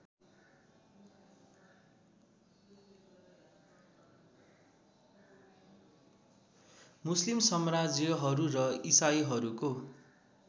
मुस्लिम सम्राज्यहरू र इसाईहरूको